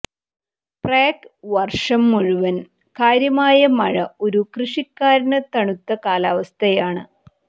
Prague വർഷം മുഴുവൻ കാര്യമായ മഴ ഒരു കൃഷിക്കാരന് തണുത്ത കാലാവസ്ഥയാണ്